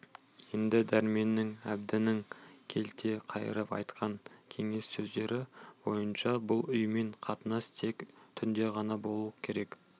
енді дәрменнің әбдінің келте қайырып айтқан кеңес сөздері бойынша бұл үймен қатынас тек түнде ғана болу керек